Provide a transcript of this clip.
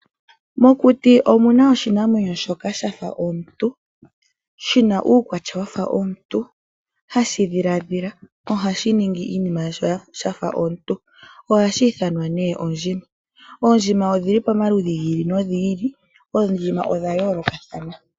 Mokuti omuna oshinamwenyo shoka shafa omuntu, shina uukwatya wafa womuntu, hashi dhiladhila nohashi ningi iinima yasho shafa omuntu ohashi ithanwa nee ondjima. Oondjima odhili pomaludhi gi ili nogi ili, oondjima odha yoolokathana.